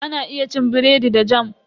Ana iya cin biredi da "Jam".